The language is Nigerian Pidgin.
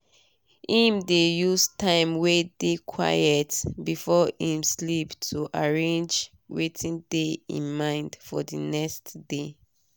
im dey use time wey dey quiet before im sleep to arrange wetin dey im mind for d next day